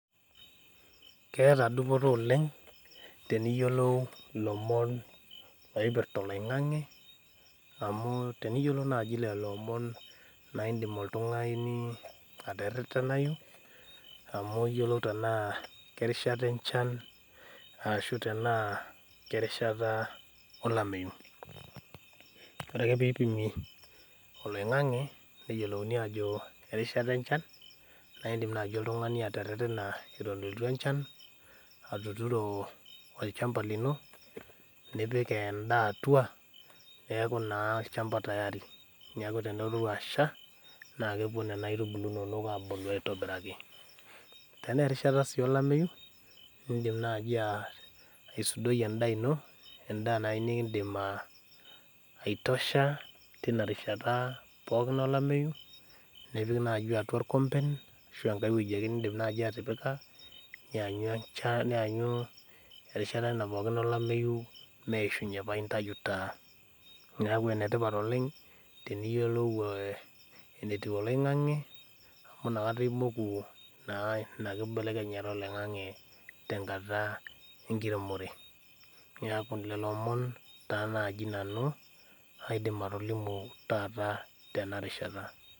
Keeta dupoto oleng teniyiolou ilomon oipirrta oloing'ang'e amu teniyiolou naaji lelo omon naindim oltung'ani aterretenayu amu iyiolou tenaa kerishata enchan ashu tenaa kerishata olameyu ore ake peipimi oloing'ang'e neyiolouni ajo erishata enchan naindim naaji oltung'ani aterretena etu elotu enchan atuturo olchamba lino nipik endaa atua neeku naa olchamba tayari niaku tenelotu asha naa kepuo nena aitubulu inonok abulu aitobiraki tenaa erishata sii olameyu indim naaji uh aisudoi endaa ino endaa naaji uh nikindim uh aitosha tina rishata pookin olameyu nipik naaji atua irkomben ashu enkae wueji ake nindim naaji atipika nianyu enchan nianyu erishata ena pookin olameyu meishunye paintayu taa niaku enetipat teniyiolou eh enetiu oloing'ang'e amu inakata imoku naa ina kibelekenyata oloing'ang'e tenkata enkiremore niaku lelo omon taa naaji nanu aidim atolimu taata tena rishata.